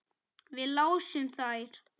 Við lásum þær.